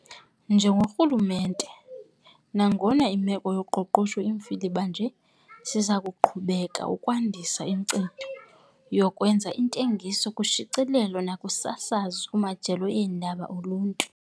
Njengorhulumente, nangona imeko yezoqoqosho imfiliba nje siza kuqhubeka ukwandisa inkcitho yokwenza iintengiso kushicilelo nakusasazo, ingakumbi kumajelo eendaba oluntu.